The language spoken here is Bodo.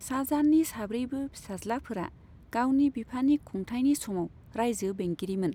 शाहजाहाननि साब्रैबो फिसाज्लाफोरा गावनि बिफानि खुंथायनि समाव रायजो बेंगिरिमोन।